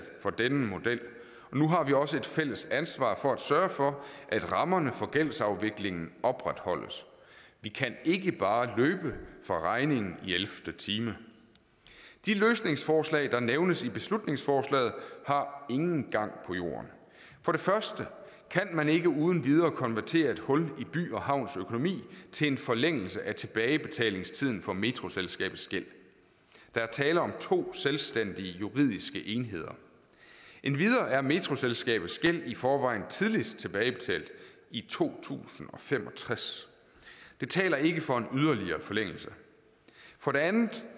for denne model nu har vi også et fælles ansvar for at sørge for at rammerne for gældsafvikling opretholdes vi kan ikke bare løbe fra regningen i elvte time de løsningsforslag der nævnes i beslutningsforslaget har ingen gang på jorden for det første kan man ikke uden videre konvertere et hul i by havns økonomi til en forlængelse af tilbagebetalingstiden for metroselskabets gæld der er tale om to selvstændige juridiske enheder endvidere er metroselskabets gæld i forvejen tidligst tilbagebetalt i to tusind og fem og tres det taler ikke for en yderligere forlængelse for det andet